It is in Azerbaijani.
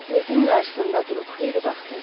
Portretin qarşısında durub xeyli baxdı.